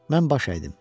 Mən baş əydim.